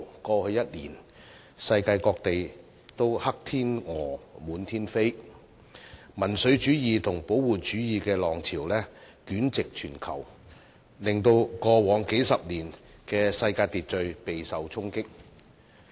過去一年，世界各地"黑天鵝"滿天飛，民粹主義和保護主義的浪潮席捲全球，令過往數十年的世界秩序備受衝擊。